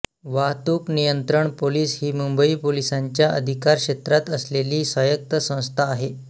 वाहतूक नियंत्रण पोलिस ही मुंबई पोलिसांच्या अधिकारक्षेत्रात असलेली स्वायत्त संस्था आहे